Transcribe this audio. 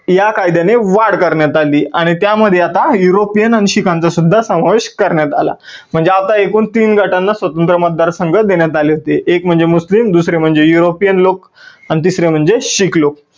या कायद्याने वाढ करण्यात आली आणि त्या मध्ये आता युरोपिअन आणि शिखांचा सुद्धा समावेश करण्यात आला. म्हणजे आता एकूण तीन गटांना स्वतंत्र मतदान संघ देण्यात आले होते. एक म्हणजे मुस्लीम, दुसरे म्हणजे युरोपिअन लोक आणि तिसरे म्हणजे शीख लोक.